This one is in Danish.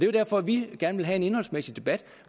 jo derfor vi gerne vil have en indholdsmæssig debat